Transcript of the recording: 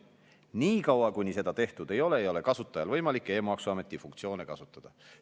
Nii kaua, kuni seda tehtud ei ole, ei ole kasutajal võimalik e-maksuameti funktsioone kasutada.